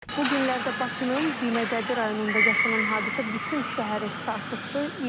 Bu günlərdə Bakının Binəqədi rayonunda yaşanan hadisə bütün şəhəri sarsıtdı.